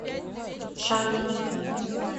чанъи